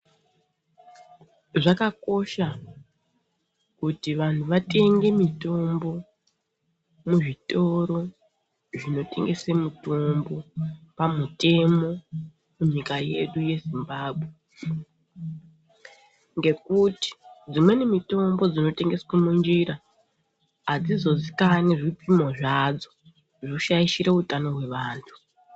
Zvakakosha kuti vantu vatenge mitombo muzvitoro zvinotengese mitombo pamutemo munyika yedu yezimbambwe. Ngekuti dzimweni mitombo dzinotengeswe munjira hadzizozikani zvipimo zvadzo zvoshaishire utano hwevantu.